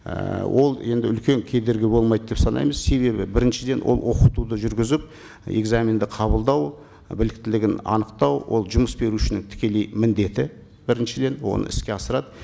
ііі ол енді үлкен кедергі болмайды деп санаймыз себебі біріншіден ол оқытуды жүргізіп экзаменді қабылдау біліктілігін анықтау ол жұмыс берушінің тікелей міндеті біріншіден оны іске асырады